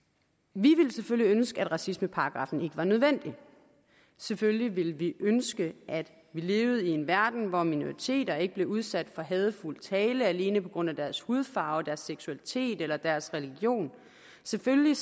vi ville selvfølgelig ønske at racismeparagraffen ikke var nødvendig selvfølgelig ville vi ønske at vi levede i en verden hvor minoriteter ikke blev udsat for hadefuld tale alene på grund af deres hudfarve deres seksualitet eller deres religion selvfølgelig